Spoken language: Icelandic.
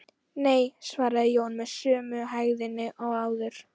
Nei, svaraði Jón með sömu hægðinni og áður.